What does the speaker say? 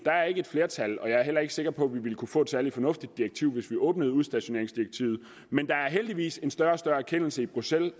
er ikke et flertal og jeg er heller ikke sikker på at vi ville kunne få et særlig fornuftigt direktiv hvis vi åbnede udstationeringsdirektivet men der er heldigvis en større og større erkendelse i bruxelles